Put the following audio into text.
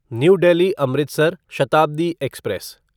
new Delhi Amritsar Shatabdi express